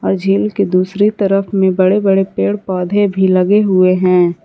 झील की दूसरी तरफ में बड़े बड़े पेड़ पौधे भी लगे हुए हैं।